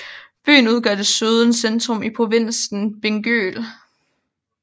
Byen udgør desuden centrum i provinsen Bingöl